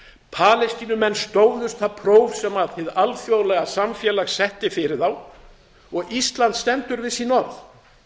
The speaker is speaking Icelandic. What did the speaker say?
palestínumenn stóðust það próf sem hið alþjóðlega samfélag setti fyrir þá og ísland stendur við sín orð í